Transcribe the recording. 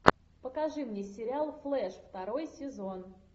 покажи мне сериал флэш второй сезон